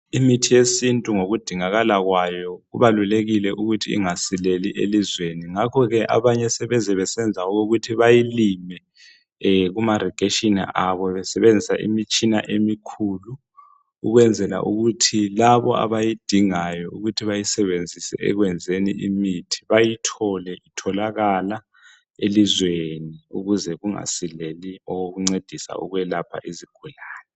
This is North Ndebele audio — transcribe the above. Imithi yesintu ngokudingakala kwayo kubalulekile ukuthi ingasileli elizweni. Ngakhoke abanye sebeze besenza okokuthi bayilime kumarigeshini abo besebenzisa imitshina emikhulu ukwenzela ukuthi labo abayidingayo ukuthi bayisebenzise ekwenzeni imithi bayithole itholakala elizweni ukuze kungasileli okokuncedisa ukwelapha izigulane.